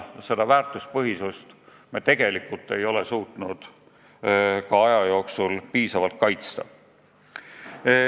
Seda väärtuspõhisust me ei ole suutnud piisavalt kaitsta.